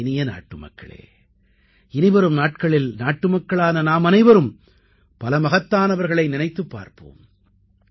என் இனிய நாட்டுமக்களே இனிவரும் நாட்களில் நாட்டுமக்களான நாமனைவரும் மகத்தானவர்களை நினைத்துப் பார்ப்போம்